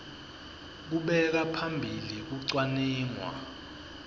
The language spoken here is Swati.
kubeka phambili kucwaningwa